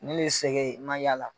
Ne le ye sɛgɛn n ma yaala